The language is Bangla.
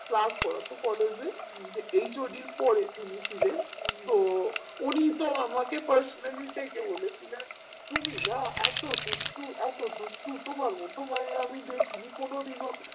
class করতো collage এ HOD পরে তিনি ছিলেন তো উনি তো আমাকে personally ডেকে বলেছিলেন তুমি না এতো দুষ্টু এতো দুষ্টু তোমার মতো মাইয়া আমি দেখি নি কেনো দিনও